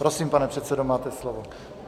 Prosím, pane předsedo, máte slovo.